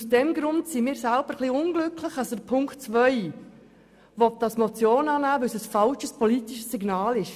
Aus diesem Grund sind wir ein bisschen unglücklich darüber, dass der Regierungsrat Punkt 2 als Motion annehmen will, weil es ein falsches politisches Signal ist.